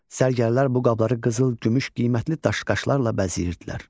Sərgərlər bu qabları qızıl, gümüş, qiymətli daş-qaşlarla bəzəyirdilər.